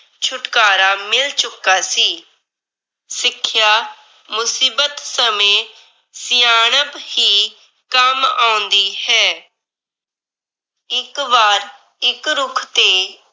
ਛੁਟਕਾਰਾ ਮਿਲ ਚੁੱਕਾ ਸੀ। ਸਿੱਖਿਆ ਮੁਸੀਬਤ ਸਮੇਂ ਸਿਆਣਪ ਹੀ ਕੰਮ ਆਉਂਦੀ ਹੈ। ਇੱਕ ਵਾਰ ਇੱਕ ਰੁੱਖ ਤੇ